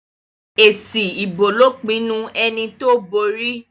èsì ìbò ló pinnu ẹní tó bóri